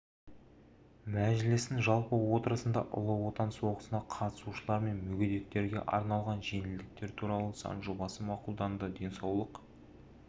мәжілістің жалпы отырысында ұлы отан соғысына қатысушылар мен мүгедектерге арналған жеңілдіктер туралы заң жобасы мақұлданды денсаулық